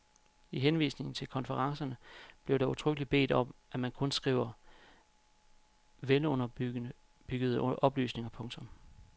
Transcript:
I henvisningen til konferencerne bliver der udtrykkeligt bedt om at man kun skriver velunderbyggede oplysninger. punktum